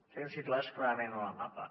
els tenim situats clarament en el mapa